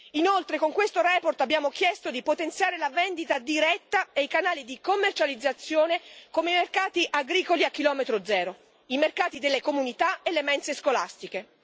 Inoltre, con questa relazione abbiamo chiesto di potenziare la vendita diretta e i canali di commercializzazione come i mercati agricoli a chilometro zero, i mercati delle comunità e le mense scolastiche.